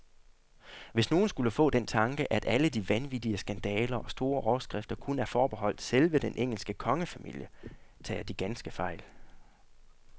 Hvis nogen skulle få den tanke, at alle de vanvittige skandaler og store overskrifter kun er forbeholdt selve den engelske kongefamilie, tager de ganske fejl.